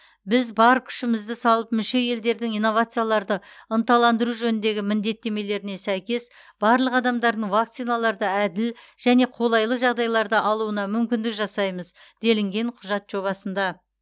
біз бар күшімізді салып мүше елдердің инновацияларды ынталандыру жөніндегі міндеттемелеріне сәйкес барлық адамдардың вакциналарды әділ және қолайлы жағдайларда алуына мүмкіндік жасаймыз делінген құжат жобасында